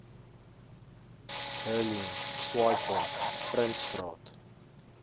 hurling swaaipomp prinsstraat